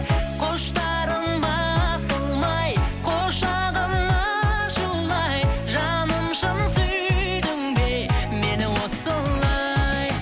құштарым басылмай құшағым ашулы ай жаным шын сүйдің бе мені осылай